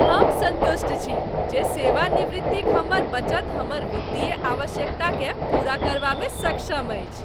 हम सन्तुष्ट छी जे सेवानिवृत्तिक हमर बचत हमर वित्तीय आवश्यकताकेँ पूरा करबामे सक्षम अछि।